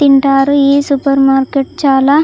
తింటారు ఈ supermarket చాలా --